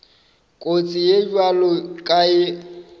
kotsi ye bjalo ka ye